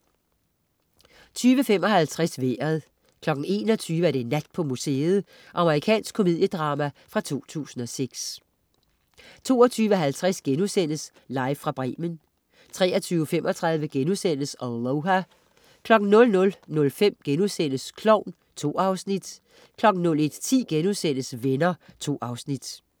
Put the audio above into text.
20.55 Vejret 21.00 Nat på museet. Amerikansk komediedrama fra 2006 22.50 Live fra Bremen* 23.35 Aloha* 00.05 Klovn* 2 afsnit 01.10 Venner* 2 afsnit